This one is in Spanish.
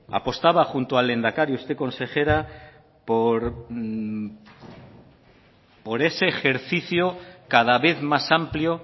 apostaba junto al lehendakari usted consejera por ese ejercicio cada vez más amplio